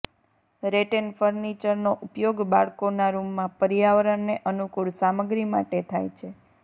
rattan ફર્નિચરનો ઉપયોગ બાળકોનાં રૂમમાં પર્યાવરણને અનુકૂળ સામગ્રી માટે થાય છે